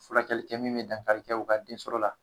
Fulakɛli kɛ min be dankari kɛ u ka den sɔrɔ la